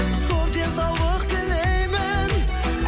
зор денсаулық тілеймін